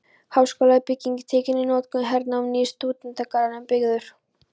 Háskólabyggingin tekin í notkun- Hernám- Nýr stúdentagarður byggður.